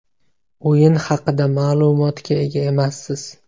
O‘yin haqida ma’lumotga ega emassiz.